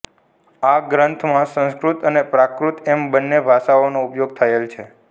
આ ગ્રંથમાં સંસ્કૃત અને પ્રાકૃત એમ બંને ભાષાઓનો ઉપયોગ થયેલ છે